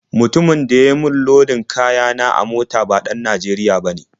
Mutumin da ya yi min lodin kaya na a mota ba ɗan Najeriya bane.